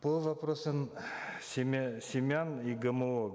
по вопросам семян и гмо